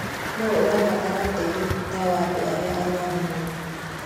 Nũũ ũrabatara ũteithio ta wa andũ arĩa andũ arĩa arũaru mũno?